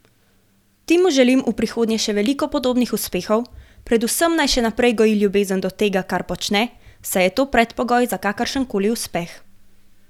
Timu želim v prihodnje še veliko podobnih uspehov, predvsem naj še naprej goji ljubezen do tega, kar počne, saj je to predpogoj za kakršenkoli uspeh.